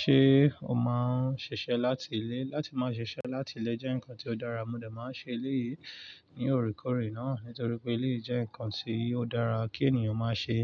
Ṣé o máa ń ṣiṣẹ́ láti ilé? Látí máa ṣiṣẹ́ láti lé jẹ́ nǹkan tó dára, mo dà máa ń ṣe eleyìí ní òkèèrè náà nítorí pé eleyìí jẹ́ nǹkan tí ó dára kí ènìyàn máa ṣe.